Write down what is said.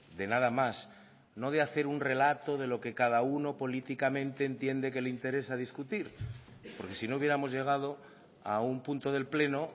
de nada más no de hacer un relato de lo que cada uno políticamente entiende que le interesa discutir porque si no hubiéramos llegado a un punto del pleno